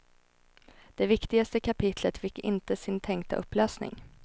Det viktigaste kapitlet fick inte sin tänkta upplösning.